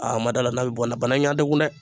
A ma d'a la n'a bɛ bɔ a la bana in y'a degun dɛ